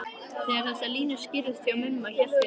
Þegar þessar línur skýrðust hjá Mumma hélt ég að